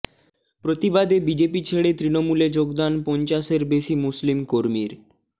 প্রতিবাদে বিজেপি ছেড়ে তৃণমূলে যোগদান পঞ্চাশের বেশি মুসলিম কর্মীর